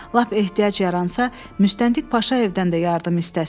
Lap ehtiyac yaransa, müstəntiq Paşayevdən də yardım istəsin.